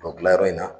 O gilan yɔrɔ in na